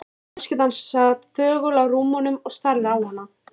Fjölskyldan sat þögul á rúmunum og starði á hana.